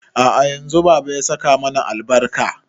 A'a yanzu baba ya saka mana albarka